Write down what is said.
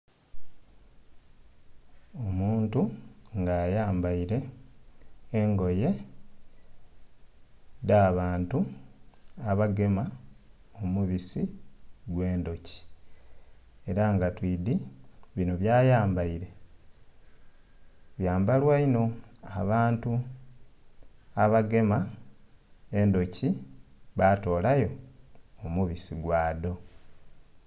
Omuntu nga ayambaire engoye dha'bantu abagema omubisi gwe endhoki era nga twidhi bino bya yambaire byambalwa inho abantu abagema endhoki batolayo omubisi gwadho.